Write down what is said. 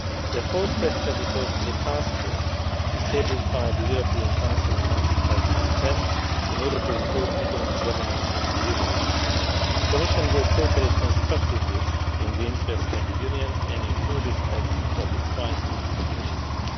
The fourth question refers to the task force established by the European Council in March 2010 in order to improve economic governance in the Union. The Commission will cooperate constructively in the interest of the Union and in full respect of its right of initiative.